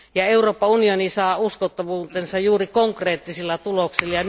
Euroopan unioni saa uskottavuutensa juuri konkreettisilla tuloksilla.